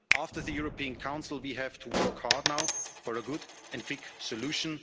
outcome. After the European Council, we have to work hard now for a good and quick